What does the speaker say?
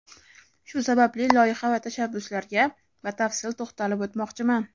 Shu sababli loyiha va tashabbuslarga batafsil to‘xtalib o‘tmoqchiman.